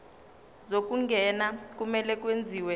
zokungena kumele kwenziwe